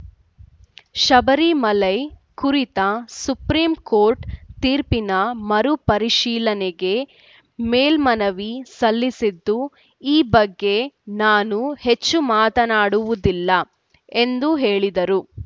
ಶಬರಿಮಲೈ ಕುರಿತ supreme court ತೀರ್ಪಿನ ಮರು ಪರಿಶೀಲನೆಗೆ ಮೇಲ್ಮನವಿ ಸಲ್ಲಿಸಿದ್ದು ಈ ಬಗ್ಗೆ ನಾನು ಹೆಚ್ಚು ಮಾತನಾಡುವುದಿಲ್ಲ ಎಂದು ಹೇಳಿದರು